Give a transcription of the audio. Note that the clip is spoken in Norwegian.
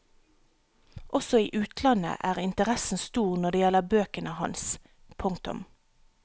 Også i utlandet er interessen stor når det gjelder bøkene hans. punktum